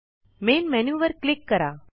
main menu वर click करा